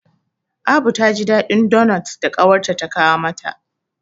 Abu ta ji daɗin donot da ƙawarta ta kawo mata.